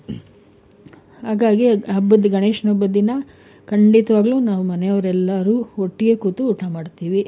ಹಾಗಾಗಿ ಹಬ್ಬದ್ ಗಣೇಶನ್ ಹಬ್ಬದ್ ದಿನ ಖಂಡಿತವಾಗ್ಲೂ ನಾವ್ ಮನೆಯವ್ರು ಎಲ್ಲಾರು ಒಟ್ಟಿಗೆ ಕೂತು ಊಟ ಮಾಡ್ತೀವಿ.